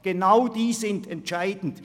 Genau die sind entscheidend.